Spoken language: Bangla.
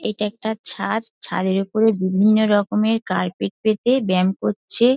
এটা একটা ছাদ ছাদের ওপরে বিভিন্নরকমের কার্পেট পেতে ব্যাম করছে।